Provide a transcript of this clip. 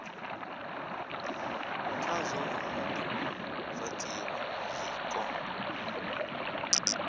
khazwo ha do fhatiwa tshiko